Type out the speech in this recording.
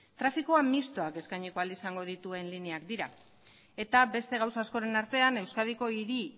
trafikoa mistoak eskaini ahal izango dituen lineak dira eta beste gauza askoren artean euskadiko hiru